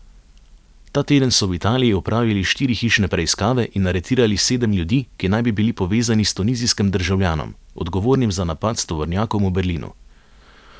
Ta teden so v Italiji opravili štiri hišne preiskave in aretirali sedem ljudi, ki naj bi bili povezani s tunizijskim državljanom, odgovornim za napad s tovornjakom v Berlinu.